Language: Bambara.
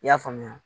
I y'a faamuya